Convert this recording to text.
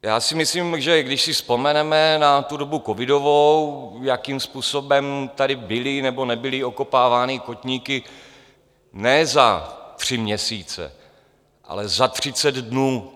Já si myslím, že když si vzpomeneme na tu dobu covidovou, jakým způsobem tady byly nebo nebyly okopávány kotníky ne za tři měsíce, ale za třicet dnů...